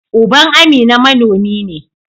Uban Amina manomi ne.